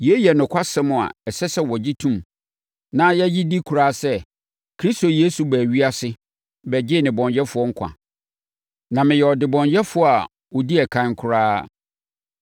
Yei yɛ nokwasɛm a ɛsɛ sɛ yɛgye tom na yɛgye di koraa sɛ: Kristo Yesu baa ewiase bɛgyee nnebɔneyɛfoɔ nkwa. Na meyɛ ɔdebɔneyɛfoɔ a ɔdi ɛkan koraa.